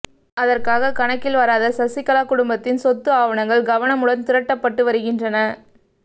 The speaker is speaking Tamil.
அதற்காக கணக்கில் வராத சசிகலா குடும்பத்தின் சொத்து ஆவணங்கள் கவனமுடன் திரட்டப்பட்டு வருகின்றன